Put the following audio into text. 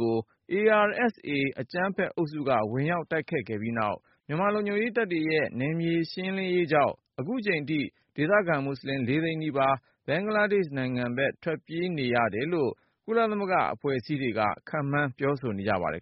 ကို ARSA အကြမ်းဖက်အုပ်စုက ဝင်ရောက်တိုက်ခိုက် ခဲ့ပြီးနောက် မြန်မာ လုံခြုံရေး တပ်တွေရဲ့နယ်မြေရှင်းလင်းရေး ကြောင့် ခုချိန်ထိ ဒေသခံ မွတ်ဆလင် သိန်းနီးပါး ဘင်္ဂလားဒေ့ရှ် နိုင်ငံဘက် ထွက်ပြေးခဲ့ရတယ်လို့ ကုလသမဂ္ဂ အဖွဲ့အစည်းတွေက ခန့်မှန်း ပြောဆို ထားပါတယ်